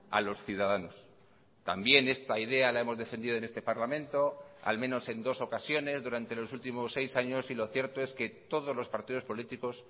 a los ciudadanos también esta idea la hemos defendido en este parlamento al menos en dos ocasiones durante los últimos seis años y lo cierto es que todos los partidos políticos